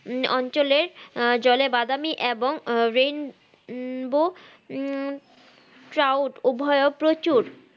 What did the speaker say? উম অঞ্চলে আহ জলে বাদামি এবং rain bow উম crowd উভয়ও প্রচুর